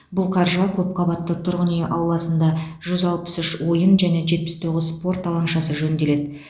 бұл қаржыға көпқабатты тұрғын үй ауласында жүз алпыс үш ойын және жетпіс тоғыз спорт алаңшасы жөнделеді